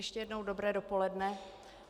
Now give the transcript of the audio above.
Ještě jednou dobré dopoledne.